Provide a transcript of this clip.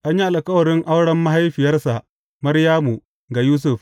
An yi alkawarin auren mahaifiyarsa Maryamu, ga Yusuf.